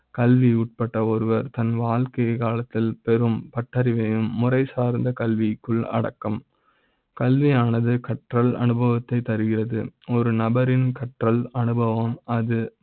கல்வி உட்பட்ட ஒருவர் தன் வாழ்க்கை க் காலத்தில் பெறும் பட்டறி வையும் முறை சார்ந்த கல்வி க்குள் அடக்க ம் கல்வி யானது கற்றல் அனுபவ த்தை தருகிறது. ஒரு நபரின் கற்றல் அனுபவ ம் அது